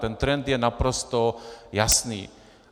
Ten trend je naprosto jasný.